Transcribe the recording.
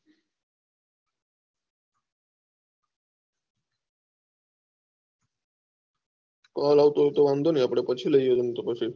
call આવતું હોય તો વાંધુ નહી આપળે પછી લયીયે રોમ તો બાકી